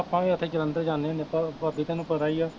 ਆਪਾਂ ਵੀ ਓਥੇ ਜਲੰਧਰ ਜਾਂਦੇ ਹੁੰਦੇ ਆਪਾਂ, ਭਾਬੀ ਤੇਨੂੰ ਪਤਾ ਈ ਆ